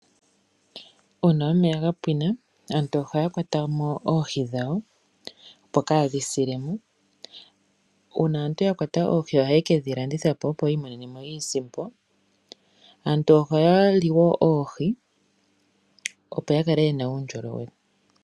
Uuna omeya ga pwina aantu ohaya kwata mo oohi dhawo opo ka dhi sile mo. Uuna aantu ya kwata oohi ohaye ke dhi landitha po opo ya imonene iisimpo. Aantu ohaya li wo oohi opo ya kale ye na uundjolowele.